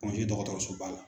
Pongé dɔgɔtɔrɔsoba la